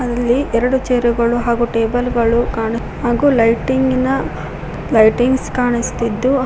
ಅಲ್ಲಿ ಎರಡು ಚೇರ್ ಗಳು ಹಾಗೂ ಟೇಬಲ್ ಗಳು ಕಾಣು ಹಾಗೂ ಲೈಟಿಂಗ್ ನ ಲೈಟಿಂಗ್ಸ್ ಕಾಣಿಸುತ್ತಿದ್ದು--